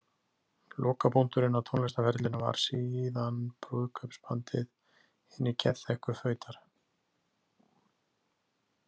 Lokapunkturinn á tónlistarferlinum var síðan brúðkaupsbandið „Hinir geðþekku fautar“.